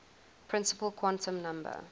principal quantum number